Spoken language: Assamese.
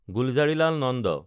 গুলজাৰিলাল নন্দ